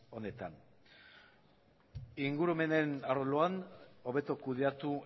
honetan ingurumenen arloan hobeto kudeatu